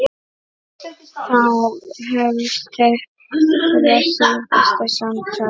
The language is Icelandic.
Þá hefst þeirra síðasta samtal.